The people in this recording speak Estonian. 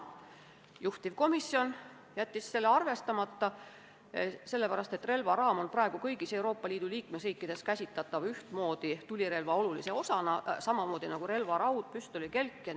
Juhtivkomisjon jättis selle ettepaneku arvestamata, sest relvaraam on praegu kõigis Euroopa Liidu liikmesriikides käsitatav tulirelva olulise osana samamoodi nagu relvaraud ja püstolikelkki.